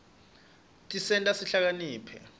tisenta sihlakaniphe